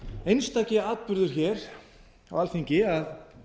einstaki atburður á alþingi að